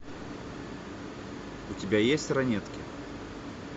у тебя есть ранетки